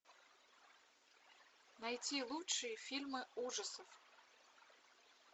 найти лучшие фильмы ужасов